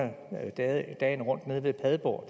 hvor